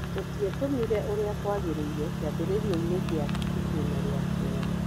Tũtietũmire ũrĩa kwagĩrĩire kĩambĩrĩriainĩ gĩa itĩna rĩa kerĩ.